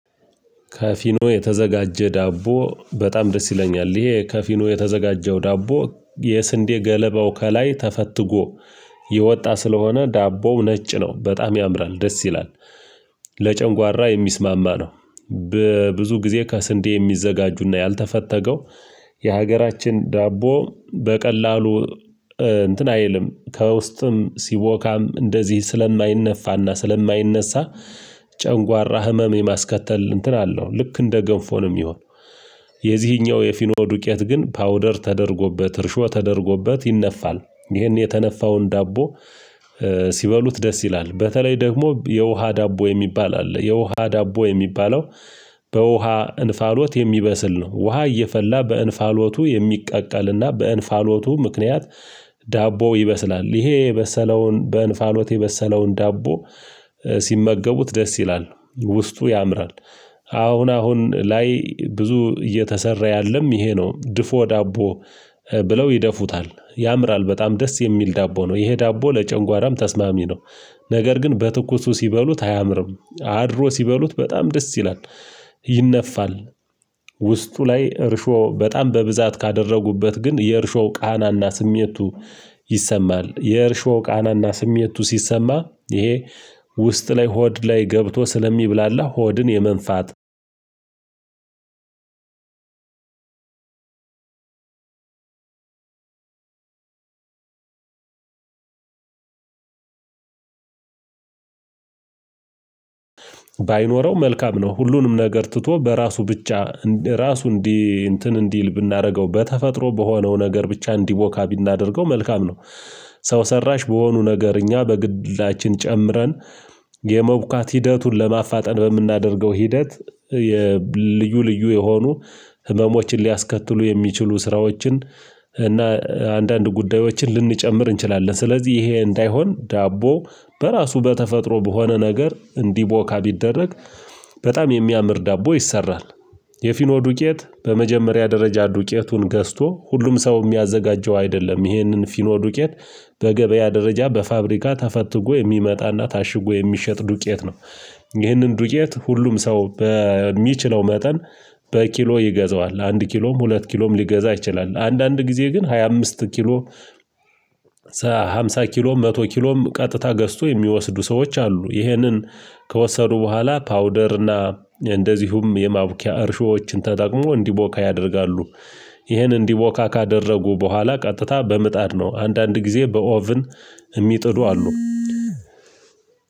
ከፊኖ የተዘጋጀ ዳቦ በጣም ደስ ይለኛል፤ ይሄ ከፊኖ የተዘጋጀው ዳቦ የስንዴ ገለባው ከላይ ተፈትጎ የወጣ ስለሆነ ዳቦው ነጭ ነው በጣም ያምራል ደስ ይላል ለጨንጓራ የሚስማማ ነው። በብዙ ጊዜ ከስንዴ የሚዘጋጁና ያልተፈተገው የሀገራችን ዳቦ በቀላሉ እንትን አይልም ከውስጥም ሲቦካም እንደዚህ ስለማይነፋና ስለማይነሳ ጨንጓራ ህመም የማስከተል እንትን አለው ልክ እንደ ገንፎ ነው የሚሆነው። የዚህኛው የፊኖ ዱቄት ግን ፓውደር ተደርጎበት እርሾ ተደርጎበት ይነፋል ይህን የተነፋውን ዳቦ። ሲበሉት ደስ ይላል በተለይ ደግሞ የውሃ ዳቦ የሚባል አለ የውሃ ዳቦ የሚባለው በውሃ እንፋሎት የሚበስል ነው። ውሃ እየፈላ በእንፋሎቱ የሚቀቀልና በእንፋሎቱ ምክንያት ዳቦ ይበስላል። ይሄ የበሰለውን በእንፋሎት የበሰለውን ዳቦ ሲመገቡት ደስ ይላል ውስጡ ያምራል። አሁን አሁን ላይ ብዙ እየተሰራ ያለም ይሄ ነው ድፎ ዳቦ። ብለው ይደፉታል ያምራል በጣም ደስ የሚል ዳቦ ነው ይሄ ዳቦ ለጨንጓራም ተስማሚ ነው። ነገር ግን በትኩሱ ሲበሉት አያምርም አድሮ ሲበሉት በጣም ደስ ይላል፤ ይነፋል። ውስጡ ላይ እርሾ በጣም በብዛት ካደረጉበት ግን የእርሾው ቃናና ስሜቱ ይሰማል የእርሾው ቃናና ስሜቱ ሲሰማ ይሄ። ውስጥ ላይ ሆድ ላይ ገብቶ ስለሚብላላ ሆድን የመንፋ፣ ባይኖር ባይኖረው መልካም ነው። ሁሉንም ነገር ትቶ በራሱ ብቻ ራሱ እንዲህ እንትን እንዲል ብናደርገው በተፈጥሮ በሆነው ነገር ብቻ እንዲቦካ ብናደርገው መልካም ነው። ሰው ሰራሽ በሆኑ ነገር እኛ በግላችን ጨምረን የመቡካት ሂደቱን ለማፋጠን በምናደርገው ሂደት የልዩ ልዩ የሆኑ ህመሞችን ሊያስከትሉ የሚችሉ ስራዎችን እና አንዳንድ ጉዳዮችን ልንጨምር እንችላለን። ስለዚህ ይሄ እንዳይሆን ዳቦ በራሱ በተፈጥሮ በሆነ ነገር እንዲቦካ ቢደረግ በጣም የሚያምር ዳቦ ይሰራል፤ የፊኖ ዱቄት በመጀመሪያ ደረጃ ዱቄቱን ገዝቶ ሁሉም ሰው የሚያዘጋጀው አይደለም ይህንን ፊኖ ዱቄት በገበያ ደረጃ በፋብሪካ ተፈትጎ የሚመጣና ታሽጎ የሚሸጥ ዱቄት ነው፤ ይህንን ዱቄት ሁሉም ሰው በሚችለው መጠን በኪሎ ይገዛዋል አንድ ኪሎም ሁለት ኪሎም ሊገዛ ይችላል። አንዳንድ ጊዜ ግን ሃያ አምስት ኪሎ ሃምሳ ኪሎ መቶ ኪሎም ቀጥታ ገዝቶ የሚወስዱ ሰዎች አሉ፤ ይህንን ከወሰዱ በኋላ ፓውደርና እንደዚሁም የማቡኪያ እርሾዎችን ተጠቅሞ እንዲቦካ ያደርጋሉ፤ ይህን እንዲቦካ ካደረጉ በኋላ ቀጥታ በምጣድ ነው አንዳንድ ጊዜ በኦቭን የሚጥድ አሉ።